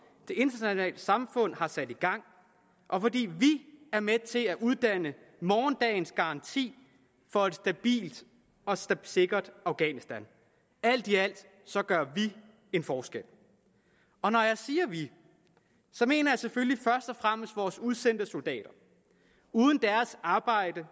det internationale samfund har sat i gang og fordi vi er med til at uddanne morgendagens garanti for et stabilt og sikkert afghanistan alt i alt gør vi en forskel og når jeg siger vi mener jeg selvfølgelig først og fremmest vores udsendte soldater uden deres arbejde